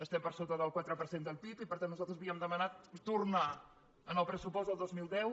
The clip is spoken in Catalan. estem per so·ta del quatre per cent del pib i per tant nosaltres havíem demanat tornar al pressupost del dos mil deu